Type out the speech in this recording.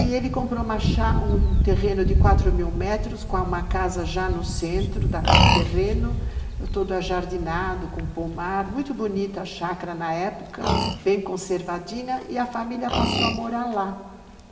E ele comprou uma chá, um terreno de quatro mil metros, com uma casa já no centro do terreno, todo ajardinado, com pomar, muito bonita a chácara na época, bem conservadinha, e a família passou a morar lá.